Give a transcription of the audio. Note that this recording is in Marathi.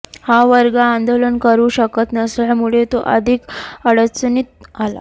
हा वर्ग आंदोलन करू शकत नसल्यामुळे तो अधिक अडचणीत आला